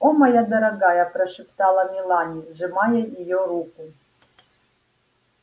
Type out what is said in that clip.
о моя дорогая прошептала мелани сжимая её руку